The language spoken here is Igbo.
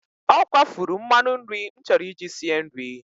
Ọ kwafuru mmanụ nri m chọrọ iji sie nri.